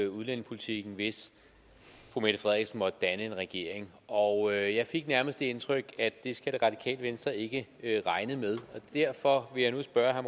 udlændingepolitikken hvis fru mette frederiksen måtte danne en regering og jeg fik nærmest det indtryk at det skal det radikale venstre ikke regne med derfor vil jeg nu spørge herre